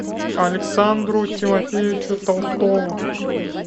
александру тимофеевичу толстову